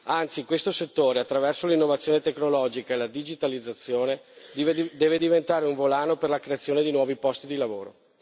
Anzi, questo settore, attraverso l'innovazione tecnologica e la digitalizzazione, deve diventare un volano per la creazione di nuovi posti di lavoro.